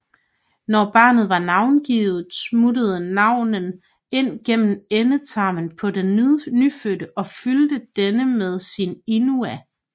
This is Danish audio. Når barnet var navngivet smuttede navnen ind gennem endetarmen på den nyfødte og fyldte denne med sin Inua